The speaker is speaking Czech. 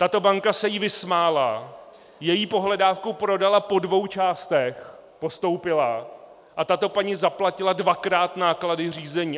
Tato banka se jí vysmála, její pohledávku prodala po dvou částech, postoupila, a tato paní zaplatila dvakrát náklady řízení.